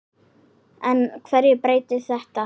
En hverju breytir þetta?